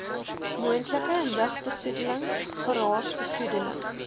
moontlike lugbesoedeling geraasbesoedeling